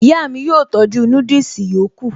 Ìyá mi yóò tọ́jú núdùsì yòókù